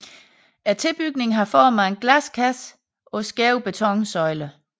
Tilbygningen har form af en glaskasse på skæve betonsøjler